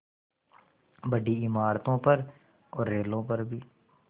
बड़ी इमारतों पर रेलों पर भी